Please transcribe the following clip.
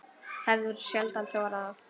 Hefur sjaldan þorað það.